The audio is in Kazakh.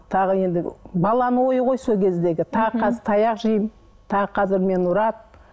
тағы енді баланың ойы ғой сол кездегі тағы қазір таяқ жеймін тағы қазір мені ұрады